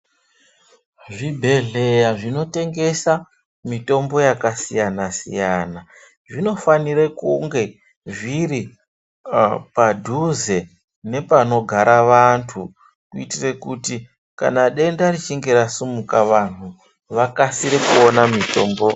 Zvibhedhleya zvinotengesa mitombo yakasiyana-siyana zvinofanire kunge zviri padhuze nepanogara vantu kuitire kuti kana denda richinge rasimuka vanhu vakasire kuona mitombo.